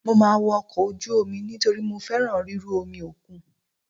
Mo máa wọ ọkọ̀ ojú omi nítorí mo fẹ́ràn ríru omi òkun.